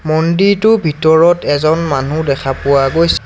মন্দিৰটোৰ ভিতৰত এজন মানুহ দেখা পোৱা গৈছ--